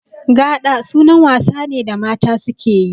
Gaɗa sunan wasa ne da mata suke yi